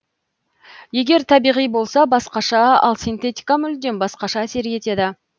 егер табиғи болса басқаша ал синтетика мүлдем басқаша әсер етеді